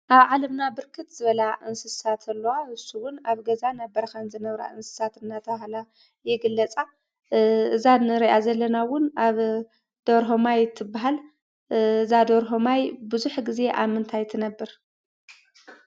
ኣብ ዓለምና ብርክት ዝበላ እንስሳት ኣለዋ ።ንሰን እወን ኣብ ገዛን ኣብ በረካን ዝነብራ እንስሳት እንዳተባሃላ ይግለፃ። እዛ እንረኣ ዘለና እወን ደርሆ ማይ ትበሃል። እዛ ደርሆ ማይ ብዙሕ ግዜ ኣብ ምንታይ ትነብር ?